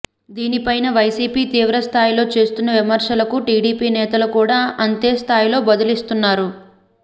దీనిపై వైసీపీ తీవ్రస్థాయిలో చేస్తున్న విమర్శలకు టీడీపీ నేతలు కూడా అంతేస్థాయిలో బదులిస్తున్నారు